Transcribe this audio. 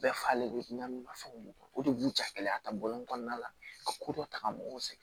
Bɛɛ falen bɛ na fɛnw o de b'u ja gɛlɛya ka bɔ kɔnɔna la ka ko dɔ ta ka mɔgɔw sɛgɛn